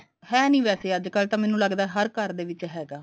ਹੈ ਨੀ ਵੈਸੇ ਅੱਜਕਲ ਤਾਂ ਮੈਨੂੰ ਲੱਗਦਾ ਹਰ ਘਰ ਦੇ ਵਿੱਚ ਹੈਗਾ